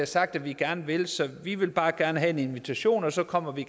sagt at vi gerne vil så vi vil bare gerne have en invitation og så kommer vi